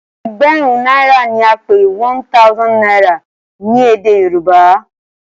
egberun naira ní a pé one thousand naira ní èdè yorùbá.